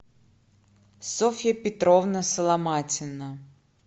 софья петровна соломатина